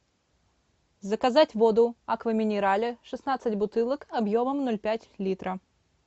заказать воду аква минерале шестнадцать бутылок объемом ноль пять литра